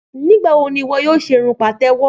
Nígbàwo ni ìwọ yóò ṣe irun pàtẹ́wọ́?